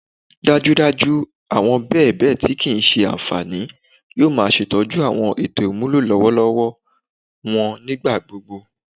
dajudaju awọn bèbe ti kii ṣe anfani yoo ma ṣetọju awọn eto imulo lọwọlọwọ wọn nigbagbogbo